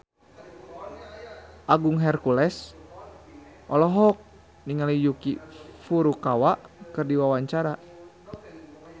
Agung Hercules olohok ningali Yuki Furukawa keur diwawancara